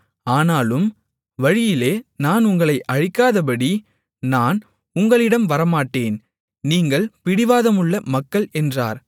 ஆனாலும் வழியிலே நான் உங்களை அழிக்காதபடி நான் உங்களிடம் வரமாட்டேன் நீங்கள் பிடிவாதமுள்ள மக்கள் என்றார்